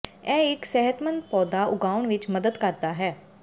ਇਹ ਇੱਕ ਸਿਹਤਮੰਦ ਪੌਦਾ ਉਗਾਉਣ ਵਿੱਚ ਮਦਦ ਕਰਦਾ ਹੈ